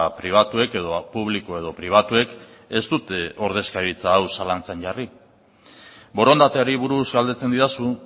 pribatuek edo publiko edo pribatuek ez dute ordezkaritza hau zalantzan jarri borondateari buruz galdetzen didazu